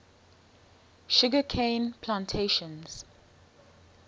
sugar cane plantations